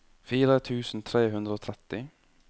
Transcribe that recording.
fire tusen tre hundre og tretti